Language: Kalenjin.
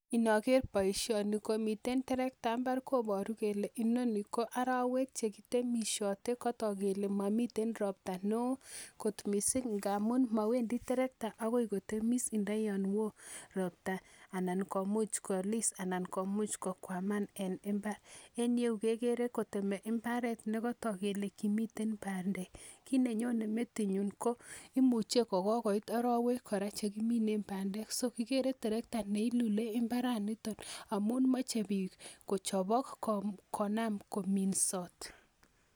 Noker boishoni komiten terekta mbar koboru kole inoni ko arowek chekitemishotei katok kele momiten ropta ne oo kot mising' ngaamun mawendi terekta akoi kotemis ntaiyon woo ropta anan komuch kolis anan komuuch kokwaman en imbar en yu kekeren kotiemei imbar nekatok kelen komiten bandek kiit nenyone metinyu ko imuchei kokoit orowek chekiminei bandek so ikere terektani mbaranito amon mochei biik kochobok sikonam kominsot